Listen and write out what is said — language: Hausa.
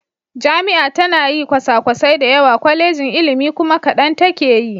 Jami'a tana yi kwasakwasai da yawa, Kwallejin ilimi kuma kadan take yi.